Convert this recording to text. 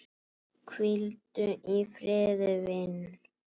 Hvíldu í friði vinur.